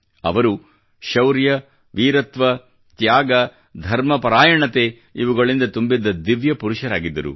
ಅವರು ಶೌರ್ಯ ವೀರತ್ವ ತ್ಯಾಗ ಧರ್ಮಪರಾಯಣತೆ ಇವುಗಳಿಂದ ತುಂಬಿದ್ದ ದಿವ್ಯ ಪುರುಷರಾಗಿದ್ದರು